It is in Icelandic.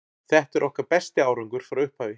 Þetta er okkar besti árangur frá upphafi.